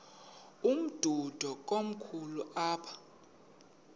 umdudo komkhulu apha